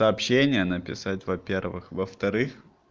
сообщение написать во-первых во-вторых